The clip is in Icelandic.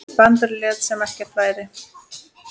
Brandur lét sem ekkert væri.